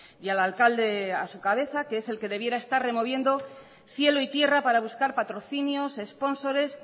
y al alcalde a su cabeza que es el que debiera estar removiendo cielo y tierra para buscar patrocinios espónsores